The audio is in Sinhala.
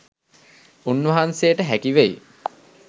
උන්වහන්සේට හැකි වෙයි.